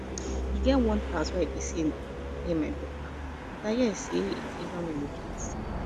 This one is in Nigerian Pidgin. e get one tout wey i dey see near my daughter but i hear say he don relocate